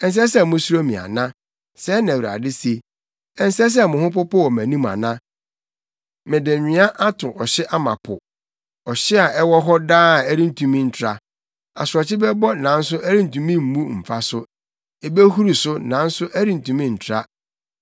Ɛnsɛ sɛ musuro me ana?” Sɛɛ na Awurade se. “Ɛnsɛ sɛ mo ho popo wɔ mʼanim ana? Mede nwea ato ɔhye ama po, ɔhye a ɛwɔ hɔ daa a ɛrentumi ntra. Asorɔkye bɛbɔ nanso ɛrentumi mmu mfa so; ebehuru so nanso ɛrentumi ntra.